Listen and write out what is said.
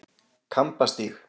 Kambastíg